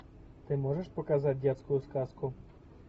ты можешь показать детскую сказку